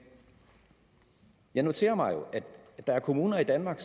jeg noterer mig jo at der er kommuner i danmark